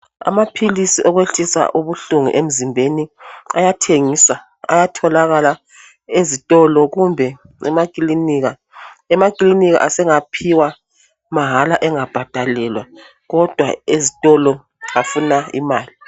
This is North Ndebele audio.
Amaphilisi okwehlisa ubuhlungu emzimbeni, ayathengiswa. Ayatholakala ezitolo kumbe emakilinika. Emakilinika asengaphiwa mahala, engabhadalelwa, kodwa ezitolo, afuna imali.